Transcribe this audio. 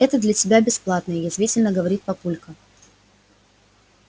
это для тебя бесплатное язвительно говорит папулька